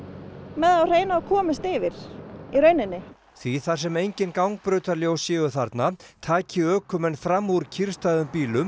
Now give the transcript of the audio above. með það á hreinu að komist yfir í rauninni því þar sem engin gangbrautarljós séu þarna taki ökumenn fram úr kyrrstæðum bílum